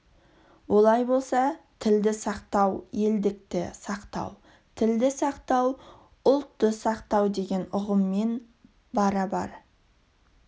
олай болса тілді сақтау елдікті сақтау тілді сақтау ұлтты сақтау деген ұғыммен барабар